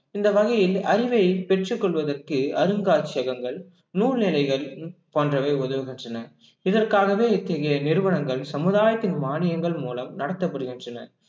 இந்த வகையில் அறிவை பெற்றுக் கொள்வதற்கு அருங்காட்சியகங்கள் நூலிழைகள் போன்றவை உதவுகின்றன இதற்காகவே இத்தகைய நிறுவனங்கள் சமுதாயத்தின் மானியங்கள் மூலம் நடத்தப்படுகின்றன